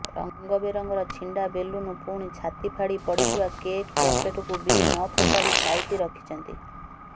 ରଙ୍ଗ ବେରଙ୍ଗର ଛିଣ୍ଡା ବେଲୁନ୍ ପୁଣି ଛାତି ଫାଡିପଡ଼ିଥିବା କେକ୍ ପ୍ୟାକେଟ୍କୁ ବି ନ ଫୋପାଡି ସାଇତି ରଖିଛନ୍ତି